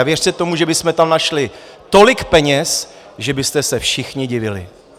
A věřte tomu, že bychom tam našli tolik peněz, že byste se všichni divili.